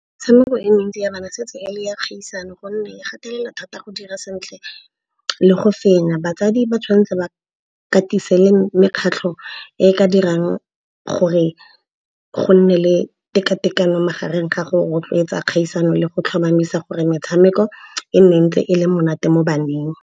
Metshameko e mentsi ya bana se tse ele ya kgaisano gonne e gatelela thata go dira sentle le go fenya. Batsadi ba tshwanetse ba katise le mekgatlho e ka dirang gore go nne le tekatekano magareng ga go rotloetsa kgaisano le go tlhomamisa gore metshameko e nne ntse e le monate mo baneng.